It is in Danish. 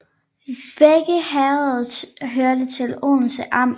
Begge herreder hørte til Odense Amt